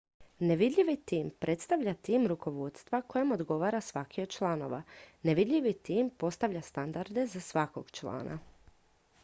nevidljivi tim predstavlja tim rukovodstva kojem odgovara svaki od članova nevidljivi tim postavlja standarde za svakog člana